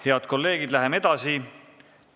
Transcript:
Head kolleegid, läheme edasi.